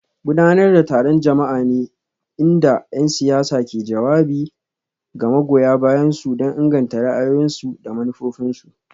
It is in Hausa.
Gudanar da taron jama'a ne inda 'yan siyasa ke jawabi ga magoya bayansu don inganta ra'ayoyinsu da manufofinsu.